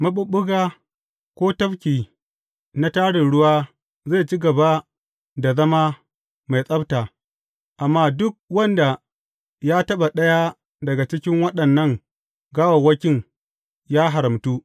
Maɓuɓɓuga ko tafki na tarin ruwa zai ci gaba da zauna mai tsabta, amma duk wanda ya taɓa ɗaya daga cikin waɗannan gawawwakin ya haramtu.